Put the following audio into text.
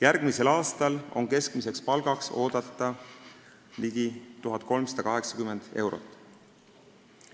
Järgmisel aastal on oodata, et keskmine palk on ligi 1380 eurot.